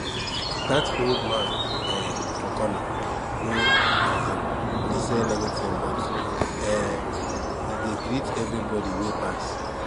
that old man um for corner no um dey sell anything but um e dey greet everybody wey pass